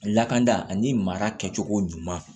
Lakanda ani mara kɛcogo ɲuman